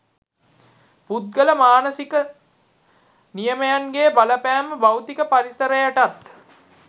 පුද්ගල මානසික නියමයන්ගේ බලපෑම භෞතික පරිසරයටත්